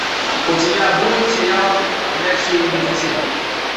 у тебя будет сериал ходячие мертвецы